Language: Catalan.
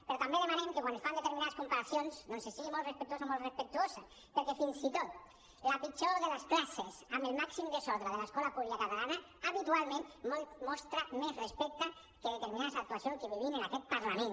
però també demanem que quan es fan determinades comparacions doncs es sigui molt respectuós o molt respectuosa perquè fins i tot la pitjor de les classes amb el màxim desordre de l’escola catalana habitualment mostra més respecte que determinades actuacions que vivim en aquest parlament